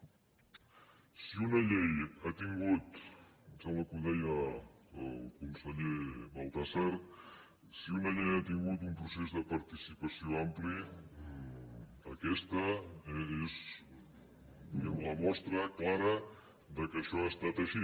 si una llei ha tingut em sembla que ho deia el conseller baltasar un procés de participació ampli aquesta és diguem ne la mostra clara que això ha estat així